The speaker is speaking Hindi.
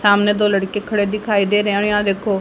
सामने दो लड़के खड़े दिखाई दे रहे हैं और यहां देखो--